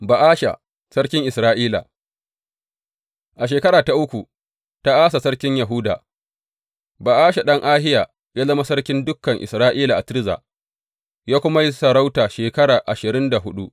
Ba’asha sarkin Isra’ila A shekara ta uku ta Asa sarkin Yahuda, Ba’asha ɗan Ahiya ya zama sarkin dukan Isra’ila a Tirza, ya kuma yi sarauta shekara ashirin da huɗu.